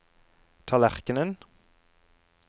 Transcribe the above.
tallerkenen